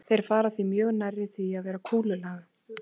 Þeir fara því mjög nærri því að vera kúlulaga.